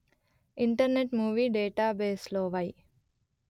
internet movie database లో why